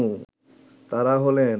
তারা হলেন